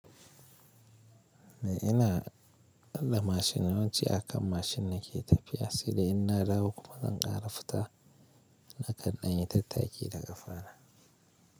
Ina haɗa mashin yanzu akan mashin nake tafiya, sanda ina dawo kuma zan ƙara fita na kan dan yi tattaki da kafa na.